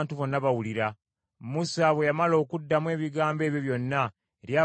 Musa bwe yamala okuddamu ebigambo ebyo byonna eri abaana ba Isirayiri,